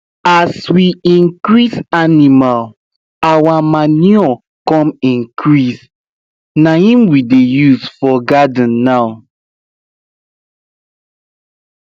as we increase animal our manure come increase naim we dey use for garden now